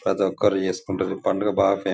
ప్రతొక్కరూ చేసుకుంటారు ఈ పండుగ బాగా ఫేమస్ --